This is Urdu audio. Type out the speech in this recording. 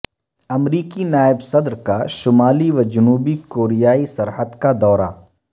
امریکی نائب صدر کا شمالی وجنوبی کوریائی سرحد کا دورہ